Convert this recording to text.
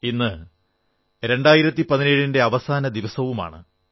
ഇന്ന് 2017 ന്റെ അവസാന ദിവസവുമാണ്